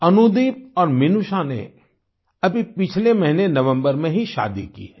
अनुदीप और मिनूषा ने अभी पिछले महीने नवम्बर में ही शादी की है